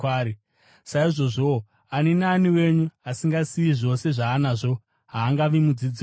Saizvozvowo, ani naani wenyu asingasiyi zvose zvaanazvo haangavi mudzidzi wangu.